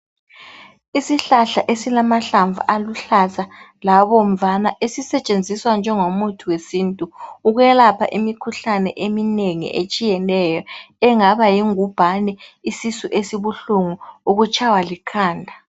Isihlahla esilamahlamvu aluhlaza labomvana esisetshenziswa njengo muthi wesintu ukwelapha imikhuhlane eminengi etshiyeneyo, engaba yingubhane isisu esibuhlungu, ukutshaywa likhanda.